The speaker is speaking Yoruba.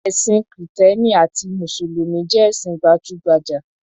Ẹ̀sìn Kìtẹ́ẹ́nì àti ẹsìn Mùsùlùmí jẹ́ ẹ̀sìn pajúgbajà.